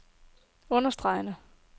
understregede